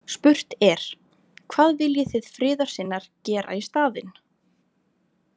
Spurt er: „hvað viljið þið friðarsinnar gera í staðinn“?